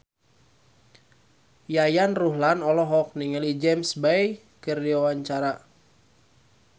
Yayan Ruhlan olohok ningali James Bay keur diwawancara